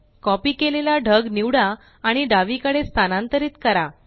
copy केलेला ढग निवडा आणि डावीकडे स्थानांतरीत करा